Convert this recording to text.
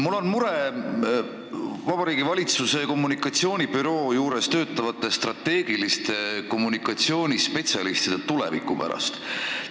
Mul on mure Vabariigi Valitsuse kommunikatsioonibüroos töötavate strateegilise kommunikatsiooni spetsialistide tuleviku pärast.